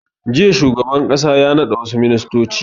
Jiya shugaban ƙasa ya naɗa wassu ministoci